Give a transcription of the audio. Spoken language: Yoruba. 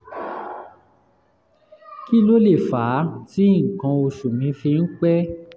kí ló lè fà á tí nǹkan oṣù mi fi ń pẹ́?